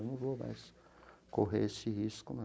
Eu não vou mais correr esse risco, não.